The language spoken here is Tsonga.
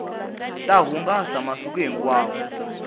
ta hungasa masiku hinkwawo